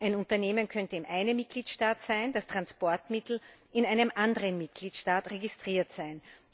Ein Unternehmen könnte in einem Mitgliedstaat, das Transportmittel in einem anderen Mitgliedstaat registriert sein.